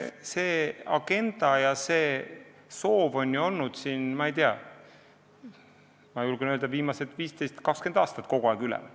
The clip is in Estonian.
See agenda ja see soov on ju olnud, ma julgen öelda, viimased 15–20 aastat kogu aeg üleval.